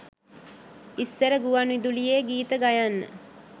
ඉස්සර ගුවන් විදුලියේ ගීත ගයන්න